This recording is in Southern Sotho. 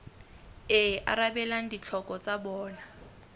e arabelang ditlhoko tsa bona